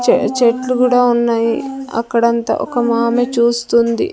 చే చెట్లు కూడా ఉన్నాయి అక్కడంతా ఒక మామె చూస్తూ ఉంది.